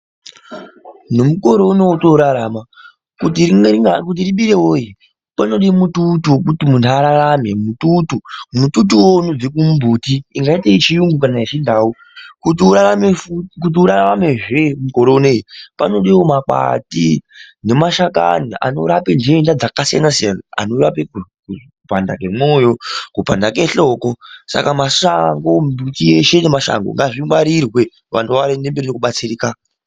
Nemukore uno wotorarama, kuti ribire woye, panoda mututu wekuti muntu ararare. Mututu uyu unobva kumbuti yingaite seyeyungu kana yeChindau. Kuti uraramezve mukore uno uyu, panodiwa makwati nemashakani anorape nteta dzakasiyana siyana. Anorape kupanda kwemoyo, kupanda kwehloko. Saka miti yeshe ngemashango ngazvikwangirirwe antu vawane zvekubatsirika.